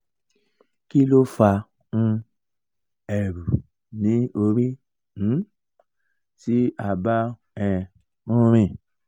kí ló fa um eru ni ori um ti a bá um n rìn?